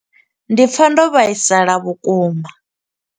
Ndi pfa ndo vhaisala vhukuma.